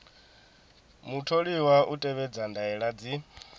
mutholiwa u tevhedza ndaela dzi